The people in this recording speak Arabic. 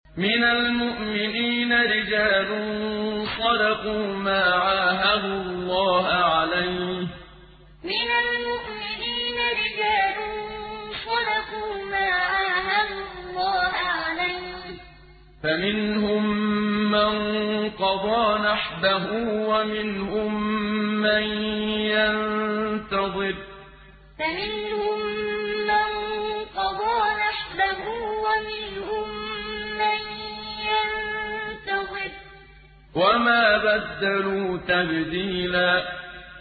مِّنَ الْمُؤْمِنِينَ رِجَالٌ صَدَقُوا مَا عَاهَدُوا اللَّهَ عَلَيْهِ ۖ فَمِنْهُم مَّن قَضَىٰ نَحْبَهُ وَمِنْهُم مَّن يَنتَظِرُ ۖ وَمَا بَدَّلُوا تَبْدِيلًا مِّنَ الْمُؤْمِنِينَ رِجَالٌ صَدَقُوا مَا عَاهَدُوا اللَّهَ عَلَيْهِ ۖ فَمِنْهُم مَّن قَضَىٰ نَحْبَهُ وَمِنْهُم مَّن يَنتَظِرُ ۖ وَمَا بَدَّلُوا تَبْدِيلًا